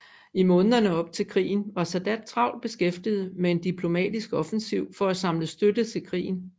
I månederne op til krigen var Sadat travlt beskæftiget med en diplomatisk offensiv for at samle støtte til krigen